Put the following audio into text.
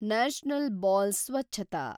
national ಬಾಲ್ ಸ್ವಚ್ಛತಾ